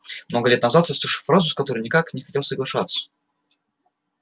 много лет назад я услышал фразу с которой никак не хотел соглашаться